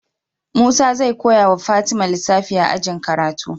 Musa zai koyawa fatima lissafi a ajin karatu